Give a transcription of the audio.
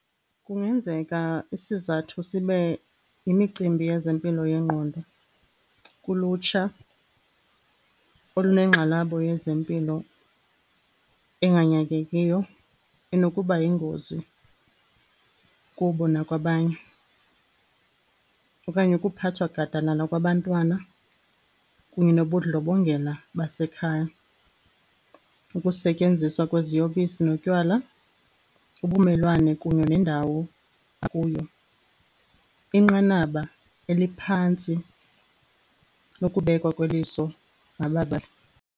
Kungenzeka isizathu sibe yimicimbi yezempilo yengqondo kulutsha olunengxalabo yezempilo enganyangekiyo enokuba yingozi kubo nakwabanye. Okanye ukuphathwa gadalala kwabantwana kunye nobundlobongela basekhaya, ukusetyenziswa kweziyobisi notywala, ubumelwane kunye nendawo akuyo, inqanaba eliphantsi lokubekwa kweliso ngabazali.